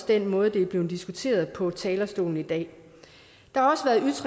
den måde det er blevet diskuteret på fra talerstolen i dag der